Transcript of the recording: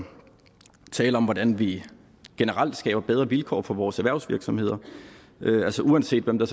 tale om hvordan vi generelt skaber bedre vilkår for vores erhvervsvirksomheder altså uanset hvem der